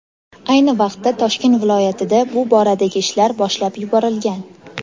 Ayni vaqtda Toshkent viloyatida bu boradagi ishlar boshlab yuborilgan.